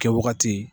Kɛwagati